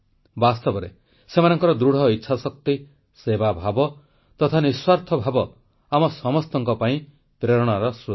ବାସ୍ତବରେ ସେମାନଙ୍କର ଦୃଢ଼ ଇଚ୍ଛାଶକ୍ତି ସେବାଭାବ ତଥା ନିଃସ୍ୱାର୍ଥ ଭାବ ଆମ ସମସ୍ତଙ୍କ ପାଇଁ ପ୍ରେରଣାର ସ୍ରୋତ